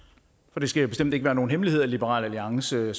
for det skal bestemt ikke være nogen hemmelighed at liberal alliance